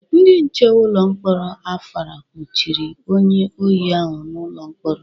Ndị nche ụlọ mkpọrọ Afara kpọchiri onye ohi ahu n'ụlọ mkpọrọ.